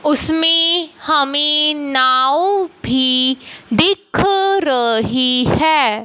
उसमें हमें नाव भी दिख रही है।